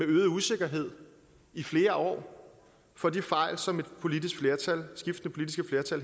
øget usikkerhed i flere år for de fejl som skiftende politiske flertal